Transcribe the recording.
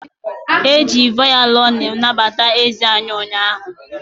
E ji vaolini nabata eze anyị ụnyaahụ.